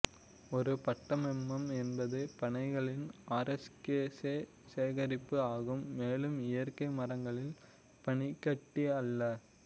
ஒரு பட்மெம்மம் என்பது பனைகளின் ஆரேஸ்கேசே சேகரிப்பு ஆகும் மேலும் இயற்கை மரங்களின் பனிக்கட்டி அல்ல